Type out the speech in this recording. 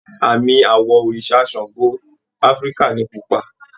Àmì àwọ̀ òrìṣà Ṣàngó Áfíríkà ni pupa